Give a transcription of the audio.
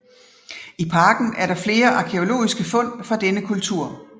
I parken er der flere arkæologiske fund fra denne kultur